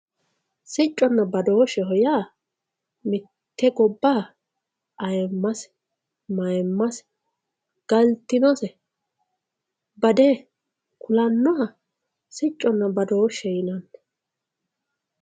Siconna badosheho ya mitte gobaha ayimase mayimase galitinose bade kulanoha siconna badoshe yinanni